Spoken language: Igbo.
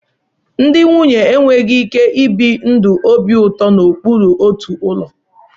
Ndị nwunye enweghị ike ibi ndụ obi ụtọ n'okpuru otu ụlọ